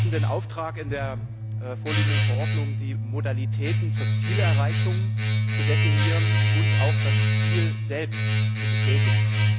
Wir hatten den Auftrag, in der vorliegenden Verordnung die Modalitäten zur Zielerreichung zu definieren und auch das Ziel selbst zu bestätigen.